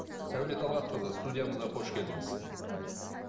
сәуле талғатқызы студиямызға қош келдіңіз мхм